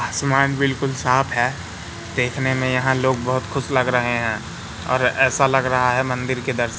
आसमान बिल्कुल साफ हैं देखने में यहां लोग बहुत खुश लग रहे हैं और ऐसा लग रहा है मंदिर के दर्शन--